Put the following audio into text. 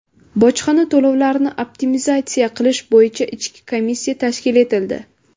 Bojxona to‘lovlarini optimizatsiya qilish bo‘yicha ishchi komissiya tashkil etildi.